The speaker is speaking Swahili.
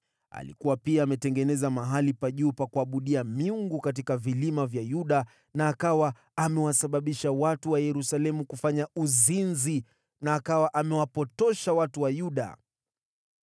Alikuwa pia ametengeneza mahali pa juu pa kuabudia miungu katika vilima vya Yuda na akawa amewasababisha watu wa Yerusalemu kufanya uzinzi na akawa amewapotosha watu wa Yuda.